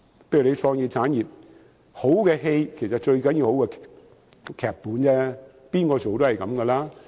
例如創意產業，好的電影最重要有好的劇本，誰人飾演也一樣。